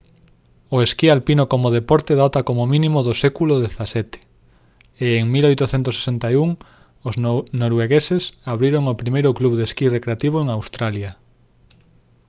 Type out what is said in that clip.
o esquí alpino como deporte data como mínimo do século xvii e en 1861 os noruegueses abriron o primeiro club de esquí recreativo en australia